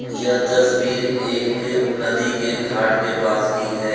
यह तस्वीर एक नदी के घाट के पास की है।